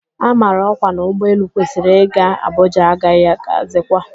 A mara ọkwa na ụgbọ elu kwesịrị ị ga Abuja agaghị agazikwa